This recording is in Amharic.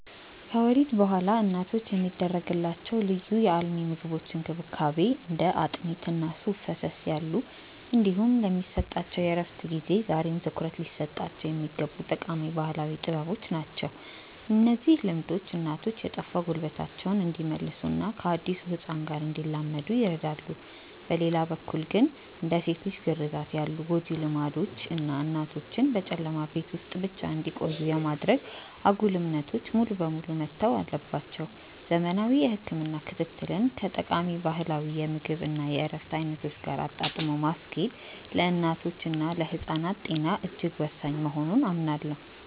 ከወሊድ በኋላ እናቶች የሚደረግላቸው ልዩ የአልሚ ምግቦች እንክብካቤ (እንደ አጥሚት እና ሱፍ ፈሰስ ያሉ) እንዲሁም የሚሰጣቸው የእረፍት ጊዜ ዛሬም ትኩረት ሊሰጣቸው የሚገቡ ጠቃሚ ባህላዊ ጥበቦች ናቸው። እነዚህ ልምዶች እናቶች የጠፋ ጉልበታቸውን እንዲመልሱና ከአዲሱ ህፃን ጋር እንዲላመዱ ይረዳሉ። በሌላ በኩል ግን፣ እንደ ሴት ልጅ ግርዛት ያሉ ጎጂ ልማዶች እና እናቶችን በጨለማ ቤት ውስጥ ብቻ እንዲቆዩ የማድረግ አጉል እምነቶች ሙሉ በሙሉ መተው አለባቸው። ዘመናዊ የህክምና ክትትልን ከጠቃሚ ባህላዊ የምግብ እና የእረፍት አይነቶች ጋር አጣጥሞ ማስኬድ ለእናቶችና ለህፃናት ጤና እጅግ ወሳኝ መሆኑን አምናለሁ።